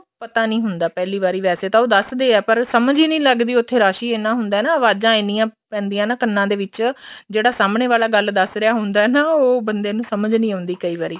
ਪਤਾ ਨੀ ਹੁੰਦਾ ਪਹਿਲੀ ਵਾਰੀ ਵੈਸੇ ਤਾਂ ਉਹ ਦੱਸ ਦੇ ਏ ਪਰ ਸਮਝ ਹੀ ਨੀ ਲੱਗਦੀ ਉੱਥੇ ਰੱਸ਼ ਹੀ ਇੰਨਾ ਹੁੰਦਾ ਅਵਾਜ਼ਾਂ ਇੰਨੀਆ ਪੈਂਦੀਆਂ ਨੇ ਕੰਨਾ ਦੇ ਵਿੱਚ ਜਿਹੜਾ ਸਾਹਮਣੇ ਵਾਲਾ ਗੱਲ ਦੱਸ ਰਿਹਾ ਹੁੰਦਾ ਨਾ ਉਹ ਬੰਦੇ ਨੂੰ ਸਮਝ ਨੀ ਆਉਦੀ ਕਈ ਵਾਰੀ